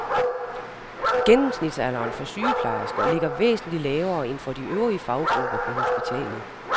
Gennemsnitsalderen for sygeplejersker ligger væsentligt lavere end for de øvrige faggrupper på hospitalet.